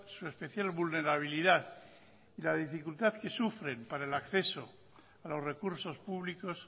su especial vulnerabilidad y la dificultad que sufren para el acceso a los recursos públicos